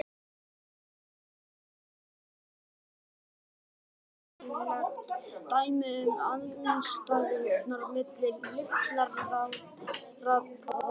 Höfuðið er sveigt dálítið aftur á bak og blásið í gegnum nef og munn.